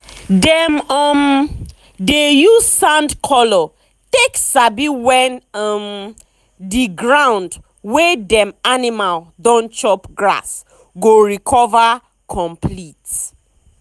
dem um dey use sand color take sabi when um the um ground wey dem animal don chop grass go recover complete.